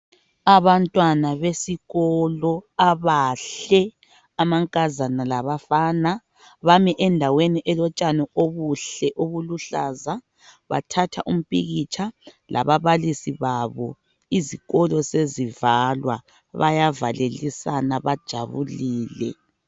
Abantwana besikolo abahle. Amankazana labafana. Bami endaweni elotshani obuhle, obuluhlaza. Bathatha umpikitsha, lababalisi babo. Izikolo sezivalwa. Bayavalelisana. Bajabulile,